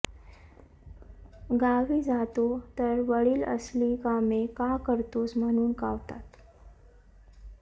गावी जातो तर वडील असली कामे का करतोस म्हणुन कावतात